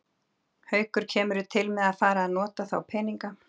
Haukur: Kemurðu til með að fara að nota þá peninga?